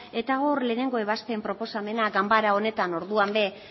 eta hor lehenengo ebazpen proposamenean ganbara honetan orduan ere